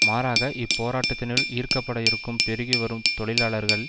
மாறாக இப்போராட்டத்தினுள் ஈர்க்கப்பட இருக்கும் பெருகி வரும் தொழிலாளர்கள்